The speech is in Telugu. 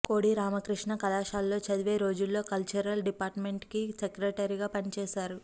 కోడి రామకృష్ణ కళాశాలలో చదివే రోజుల్లో కల్చరల్ డిపార్టుమెంట్కి సెక్రటరీగా పనిచేశారు